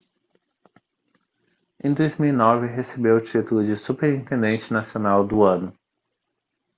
em 2009 recebeu o título de superintendente nacional do ano